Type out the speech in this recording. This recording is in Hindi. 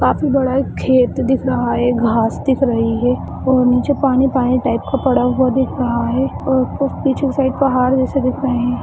काफी बड़ा एक खेत दिख रहा है घास दिख रही है और नीचे पानी-पानी टाइप का पड़ा हुआ दिख रहा है और कुछ पीछे साइड पहाड़ जैसा दिख रहे है।